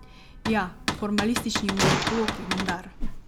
Ja, formalistični muzikologi vendar!